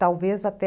Talvez até...